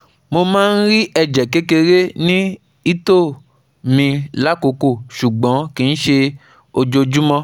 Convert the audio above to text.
Mo máa ń rí ẹ̀jẹ̀ kékeré ní ìtoẹ mi lákòókò, ṣùgbọ́n kìí ṣe ojoojúmọ́